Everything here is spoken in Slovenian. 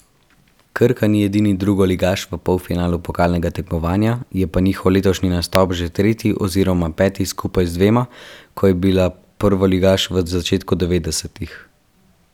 Krka ni edini drugoligaš v polfinalu pokalnega tekmovanja, je pa njihov letošnji nastop že tretji oziroma peti skupaj z dvema, ko je bila prvoligaš v začetku devetdesetih.